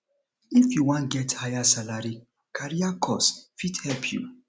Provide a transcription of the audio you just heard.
if you wan get higher salary career course fit help you